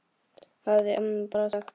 hafði amma bara sagt.